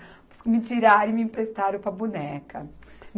Por isso que me tiraram e me emprestaram para a boneca.